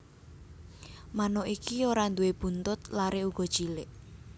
Manuk iki ora nduwé buntut lare uga cilik